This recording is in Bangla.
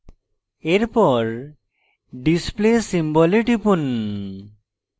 এরপর display symbol এ টিপুন